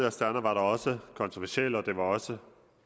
astana var da også kontroversielt og det var også